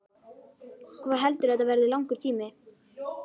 Hvað heldurðu að þetta verði langur tími?